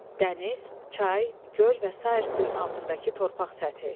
Dəniz, çay, göl və sair suyun altındakı torpaq səthi.